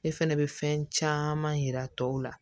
Ne fɛnɛ bɛ fɛn caman yira tɔw la